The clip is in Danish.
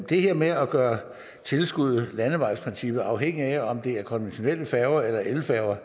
det her med at gøre tilskuddet landevejsprincippet afhængigt af om det er konventionelle færger eller elfærger